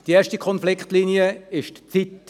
Eine direkte Konfliktlinie betrifft die Zeit.